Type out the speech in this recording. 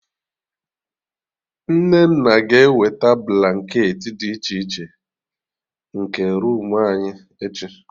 Nnenna ga ewete blanketị dị iche iche, nke roomu anyị, echi